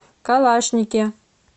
калашнике